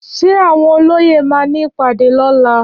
Ṣé àwọn olóyè ma ní ìpàdé lóla?